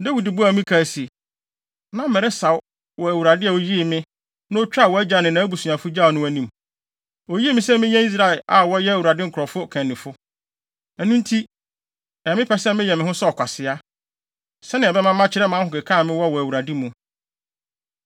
Dawid buaa Mikal se, “Na meresaw wɔ Awurade a oyii me, na otwaa wʼagya ne nʼabusuafo gyawee no anim. Oyii me sɛ menyɛ Israel a wɔyɛ Awurade nkurɔfo ɔkannifo. Ɛno nti, ɛyɛ me pɛ sɛ meyɛ me ho sɛ ɔkwasea, sɛnea ɛbɛma makyerɛ mʼahokeka a mewɔ wɔ Awurade mu.